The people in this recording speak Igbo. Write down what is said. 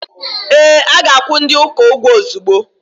Ee, a ga-akwụ ndi uka ụgwọ ozugbo.